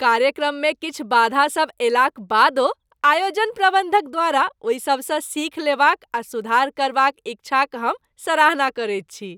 कार्यक्रममे किछु बाधा सब अयलाक बादो आयोजन प्रबन्धक द्वारा ओहि सबसँ सीख लेबाक आ सुधार करबाक इच्छाक हम सराहना करैत छी।